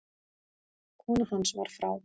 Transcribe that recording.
Kona hans var frá